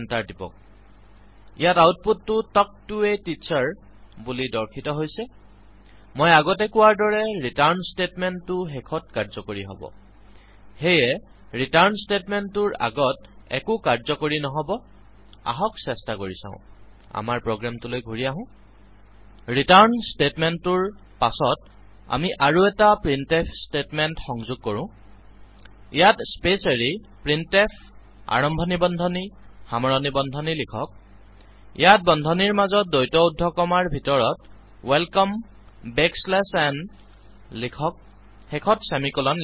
টিপক ইয়াত আউতপুটটো তাল্ক ত a Teacherবুলি দৰ্শিত হৈছে মই আগতে কোৱাৰ দৰে ৰিটাৰ্ণ ষ্টেটমেন্ততো শেষত কাৰ্যকৰী হব সেয়ে ৰিটাৰ্ণ ষ্টেটমেন্ততোৰ আগত একো কাৰ্যকৰী ন্হবআহ্ক চেষ্টা কৰি চাও আমাৰ প্ৰোগ্ৰামটোলৈ ঘুৰি আহোঁ ৰিটাৰ্ণ ষ্টেটমেন্ততোৰ পাছত আমি আৰু এটা প্ৰিণ্টফ ষ্টেটমেন্ত সংযোগ কৰোঁ ইয়াত স্পেছ এৰি প্ৰিণ্টফ আৰম্ভনি বন্ধনীসামৰণি বন্ধনী লিখক ইয়াত বন্ধনীৰ মাজতদ্বৈত উদ্ধ কমাৰ ভিতৰত ৱেলকমে বেকচ্লেচ n লিখকশেষত ছেমিকলনছেমিকলন